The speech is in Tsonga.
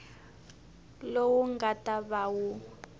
lowu nga ta va wu